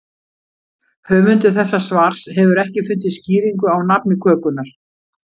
Höfundur þessa svars hefur ekki fundið skýringu á nafni kökunnar.